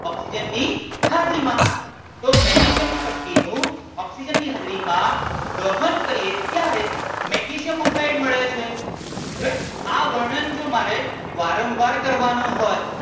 oxygen ની હાજરી માં તો મેગ્નેશિયમ ની પટ્ટી નું ઓક્સિજન ની હાજરી માં દહન કરીએ ત્યારે મેગ્નેશિયમ ઑક્સાઇડ મળે છે હવે આ વર્ણન મારે જો વારંવાર કરવાનું હોય